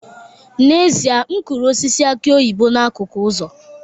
N'ezie, m kụrụ osisi aki oyibo n'akụkụ ụzọ